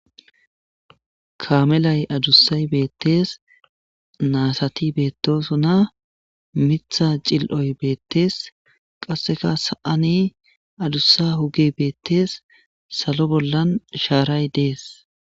Kaamelay addussay bettes nasati betosona miththa ciloy bettes qasseka sa7an addusa hugey bettes sallo bollan sharay desi.